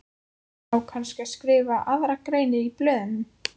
Á kannski að skrifa aðra grein í blöðin?